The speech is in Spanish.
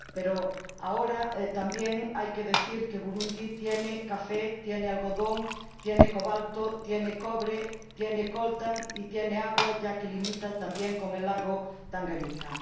Pero, ahora, también hay que decir que Burundi tiene café, tiene algodón, tiene cobalto, tiene cobre, tiene coltan y tiene agua, ya que limita también con el lago Tanganica.